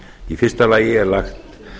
í fyrsta lagi er lagt